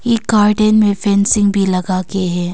इक गार्डन में फेंसिंग भी लगा के है।